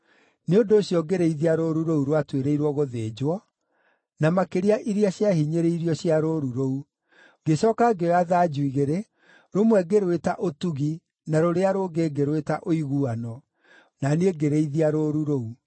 Nĩ ũndũ ũcio ngĩrĩithia rũũru rũu rwatuĩrĩirwo gũthĩnjwo, na makĩria iria ciahinyĩrĩirio cia rũũru rũu. Ngĩcooka ngĩoya thanju igĩrĩ, rũmwe ngĩrwĩta Ũtugi na rũrĩa rũngĩ ngĩrwĩta Ũiguano, na niĩ ngĩrĩithia rũũru rũu.